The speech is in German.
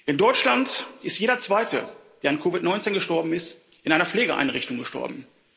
In Deutschland ist jeder zweite, der an COVID 19 gestorben ist, in einer Pflegeeinrichtung gestorben.